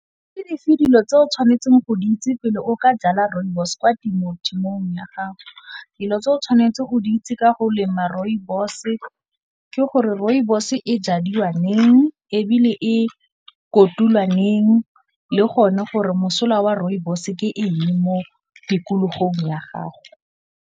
Ke dife dilo tse o tshwanetseng go di itse pele o ka jala Rooibos kwa temothuong ya gago? Dilo tse o tshwanetseng go di itse ka go lema Rooibos ke gore Rooibos e jadiwang neng, ebile e kotulwa neng, le gone gore mosola wa Rooibos ke eng mo tikologong ya gago.